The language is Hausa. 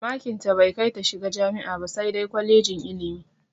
Makin tai bai kai ta shiga jami'a ba sai dai kwalejin ilimi.